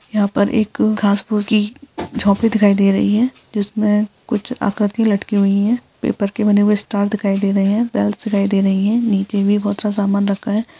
यहां पर एक घास फुसली झोपड़ी दिखाई दे रही है जिसमें कुछ आकृति लटकी हुई है पेपर के बने हुए स्टार दिखाई दे रहे है बेल्स दिखाई दे रही है नीचे भी बहुत सा सामान रखा है।